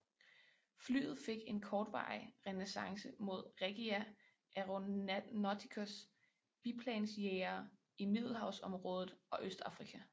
Flyet fik en kortvarig renæssance mod Regia Aeronauticas biplansjagere i middelhavsområdet og Østafrika